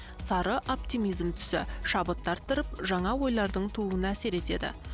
сары оптимизм түсі шабытты арттырып жаңа ойлардың тууына әсер етеді